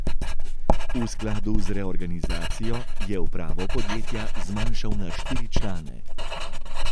V skladu z reorganizacijo je upravo podjetja zmanjšal na štiri člane.